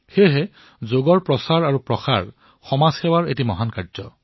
সেইবাবে যোগৰ প্ৰচাৰ হল সমাজ সেৱাৰ এক মহান কাৰ্য